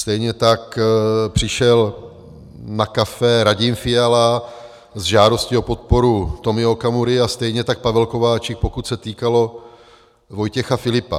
Stejně tak přišel na kafe Radim Fiala s žádostí o podporu Tomia Okamury a stejně tak Pavel Kováčik, pokud se týkalo Vojtěcha Filipa.